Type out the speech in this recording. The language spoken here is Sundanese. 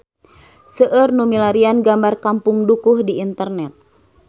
Seueur nu milarian gambar Kampung Dukuh di internet